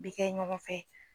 Bɛ kɛ ɲɔgɔn fɛ